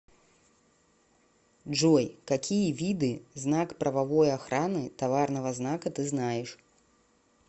джой какие виды знак правовой охраны товарного знака ты знаешь